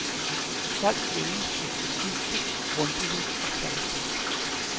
Folk længes efter dybde, grundighed og kvalitet.